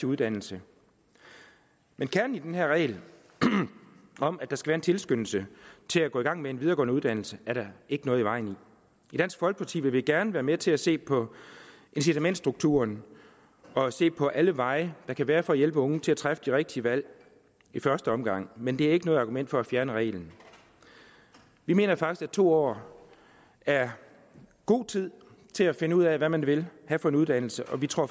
uddannelse men kernen i den her regel om at der skal være en tilskyndelse til at gå i gang med en videregående uddannelse er der ikke noget i vejen med i dansk folkeparti vil vi gerne være med til at se på incitamentsstrukturen og se på alle veje der kan være for at hjælpe unge til at træffe det rigtige valg i første omgang men det er ikke noget argument for at fjerne reglen vi mener faktisk at to år er god tid til at finde ud af hvad man vil have for en uddannelse og vi tror